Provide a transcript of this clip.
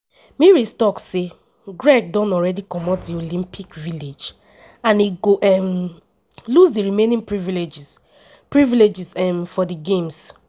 meares tok say craig don already comot di olympic village and e go um lose di remaining privileges privileges um for di games.